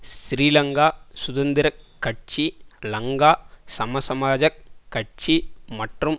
ஸ்ரீலங்கா சுதந்திர கட்சி லங்கா சமசமாஜக் கட்சி மற்றும்